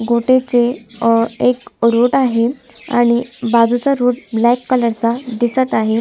गोट्याचे एक रोड आहे आणि बाजूचा रोड ब्लॅक कलर चा दिसत आहे.